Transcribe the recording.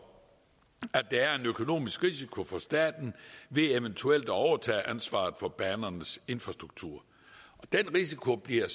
at der er en økonomisk risiko for staten ved eventuelt at overtage ansvaret for banernes infrastruktur og den risiko bliver